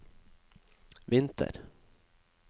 vinter